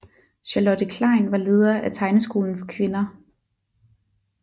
Charlotte Klein var leder af Tegneskolen for Kvinder